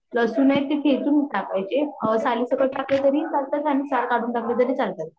लसून ते ठेचून टाकायचे साली सकट टाकले तरी चालतात आणि साली काढून टाकले तरी चालतात